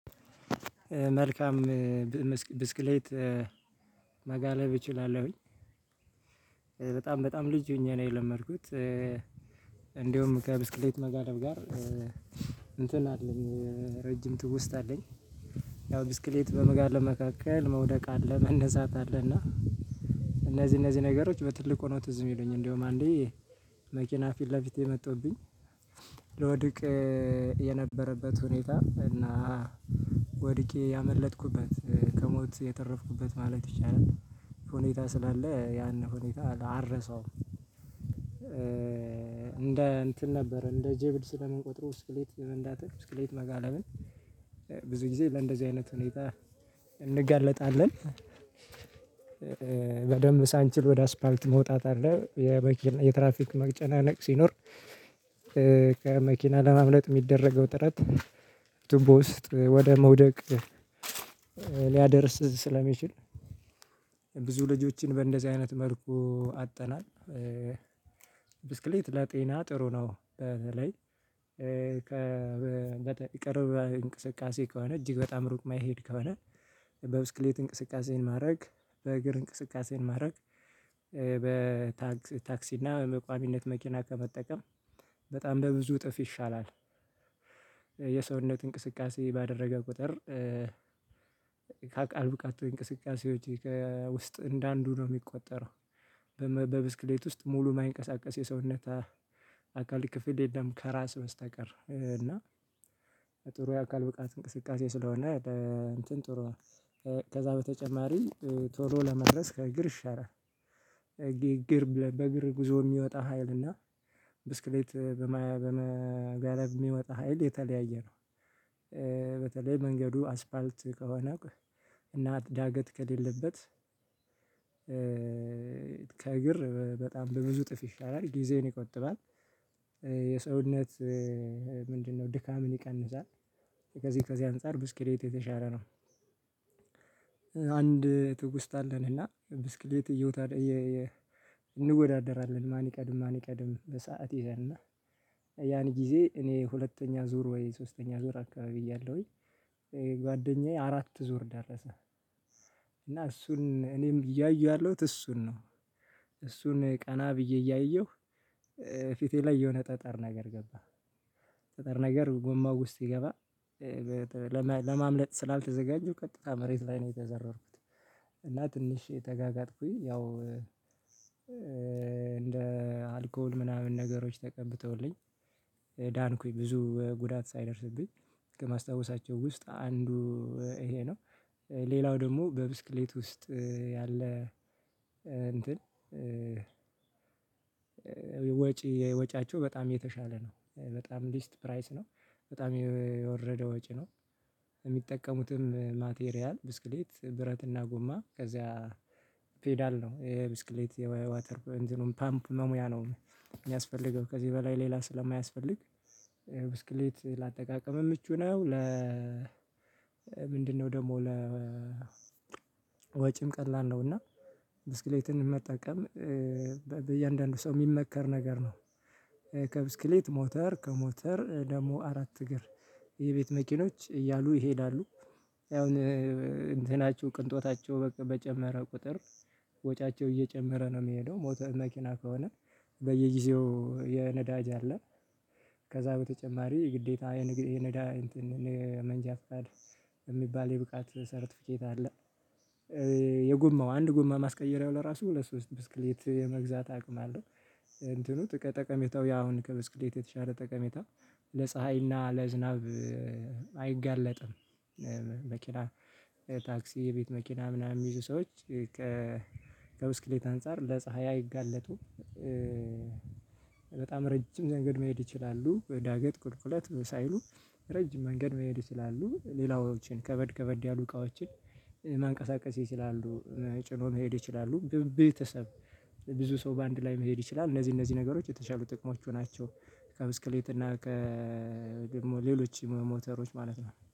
መልካም ብስክሌት መጋለብ እችላለሁኝ። በጣም በጣም ልጅ ሆኜ ነው የለመድኩት። እንደውም ከብስክሌት መጋለብ ጋር እንትን አለኝ ረጅም ትውስታ አለኝ። ያው ብስክሌት በመጋለብ መካከል መውደቅ አለ መነሳት አለና። እነዚህ እነዚህ ነገሮች በትልቅ ሆኖ ትዝ የሚሉኝ እንደውም አንዴ መኪና ፊት ለፊቴ መጥቶብኝ ለወድቄ የነበረበት ሁኔታ እና ወድቄ ያመለጠኩበት ከሞት የተረፍኩበት ማለት ይቻላል ሁኔታ ስላለ ያን ሁኔታ አልረሳውም። እንደ እንትን ነበር እንደ ጀብድ ስለምንቆጥረው ብክሌት መንዳትህ ብክሌት መጋለብን ብዙ ጊዜ ለእንደዚህ አይነት ሁኔታ እንገለጣለን። በደንብ ሳንችል ወደ አስፓልት መውጣት አለ የትራፊክ መቅጨናነቅ ሲኖር ከመኪና ለማምለጥ የሚደረገው ጥረት ቱቦ ውስጥ ወደ መውደቅ ሊያደርስ ስለሚችል ብዙ ልጆችን በእንደዚህ አይነት መልኩ አጠተናል። ብስክሌት ለጤና ጥሩ ነው። በተለይ ቅርብ እንቅስቃሴ ከሆነ እጅግ በጣም ሩቅ የማይሄድ ከሆነ በብስክሌት እንቅስቃሴን ማድረግ በእግር እንቅስቃሴን ማድረግ በታክሲ እና በመቋሚነት መኪና ከመጠቀም በጣም በብዙ እጥፍ ይሻላል። የሰውነት እንቅስቃሴ ባደረገ ቁጥር አካል እንቅስቃሴዎች ውስጥ እንደ አንዱ ነው የሚቆጠረው። በብስክሌት ውስጥ ሙሉ የማይንቀሳቀስ የሰውነት አካል ክፍል የለም ከራስ መስተቀር እና ጥሩ የአካል ብቃት እንቅስቃሴ ስለሆነ። እንትን ጥሩ ከዛ በተጨማሪ ቶሎ ለመድረስ ከእግር ይሻራል። እግር በእግር ጉዞ የሚወጣ ሀይልና ብስክሌት በመጋረብ የሚወጣ ሀይል የተለያየ ነው። በተለይ መንገዱ አስፓልት ከሆነ እና ዳገት ከሌለበት ከእግር በጣም በብዙ ጥፍ ይሻላል ጊዜን ይቆጥባል። የሰውነት ምንድነው ድካምን ይቀንሳል ከዚህ ከዚህ አንፃር ብስክሌት የተሻለ ነው። አንድ ትውስታ አለኝ እና ብስክሌት እየነዳው እንወዳደራለን ማን ይቀድም ማን ይቀድም በሰአት ይዘን እና ያን ጊዜ እኔ ሁለተኛ ዙር ወይ ሶስተኛ ዙር አካባቢ እያለሁኝ ጓደኛዬ አራት ዙር ደረሰ እና እሱን እኔም እያየው ያለሁት እሱን ነው። እሱን ቀና ብዬ እያየሁ ፊቴ ላይ የሆነ ጠጠር ነገር ገባ ጠጠር ነገር ጎማ ውስጥ ሲገባ ለማምለጥ ስላልተዘጋጀው ቀጥታ መሬት ላይ ነው የተዘረርኩት። እና ትንሽ ተጋጋጥኩኝ ያው እንደ አልኮል ምናምን ነገሮች ተቀብተውልኝ ዳንኩኝ ብዙ ጉዳት ሳይደርስብኝ ከማስታወሳቸው ውስጥ አንዱ ይሄ ነው። ሌላው ደግሞ በብስክሌት ውስጥ ያለ እንትን ወጪ ወጪያቸው በጣም የተሻለ ነው በጣም ሊስት ፕራይስ ነው በጣም የወረደ ወጪ ነው። የሚጠቀሙትም ማቴሪያል ብስክሌት ብረትና ጉማ ከዚያ ፔዳል ነው የብስክሌት የዋተር ፓምፕ መሙያ ነው የሚያስፈልገው ከዚህ በላይ ሌላ ስለማያስፈልግ ብስክሌት ለአጠቃቀም ምቹ ነው። ለ ምንድነው ደግሞ ለ ወጪም ቀላል ነው እና ብስክሌትን መጠቀም በእያንዳንዱ ሰው የሚመከር ነገር ነው። ከብስክሌት ሞተር ከሞተር ደግሞ አራት እግር የቤት መኪኖች እያሉ ይሄዳሉ አሁን እንትናቸው ቅንጦታቸው በጨመረ ቁጥር ወጫቸው እየጨመረ ነው የሚሄደው ሞተር መኪና ከሆነ በየጊዜው የነዳጅ አለ ከዛ በተጨማሪ ግዴታ የነዳጅ እንትን እንደ መንጃ ፍቃድ የሚባል የብቃት ሰርተፊኬት አለ። የጉማው አንድ ጉማ ማስቀየሪያው ለራሱ ሁለት ሶስት ብስክሌት የመግዛት አቅም አለው እንትኑ ጠቀሜታው ያሁን ከብስክሌት የተሻለ ጠቀሜታ ለፀሀይና ለዝናብ አይጋለጥም። መኪና ታክሲ የቤት መኪና ምናምን ይዞ ሰዎች ከ ከብስክሌት አንፃር ለፀሀይ አይጋለጡም። በጣም ረጅም መንገድ መሄድ ይችላሉ ዳገት ቁልቁለት ሳይሉ ረጅም መንገድ መሄድ ይችላሉ። ሌላዎችን ከበድ ከበድ ያሉ እቃዎችን ማንቀሳቀስ ይችላሉ ጭኖ መሄድ ይችላሉ። ግን ህብረተሰቡ ብዙ ሰው በአንድ ላይ መሄድ ይችላል እነዚህ እነዚህ ነገሮች የተሻሉ ጥቅሞች መሆናቸው ከብስክሌት እና ከደግሞ ከሌሎች ሞተሮች ማለት ነው